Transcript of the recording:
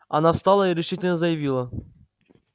она встала и решительно заявила